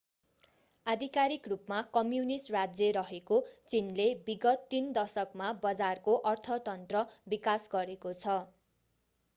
आधिकारिक रूपमा कम्युनिष्ट राज्य रहेको चीनले विगत तीन दशकमा बजारको अर्थतन्त्र विकास गरेको छ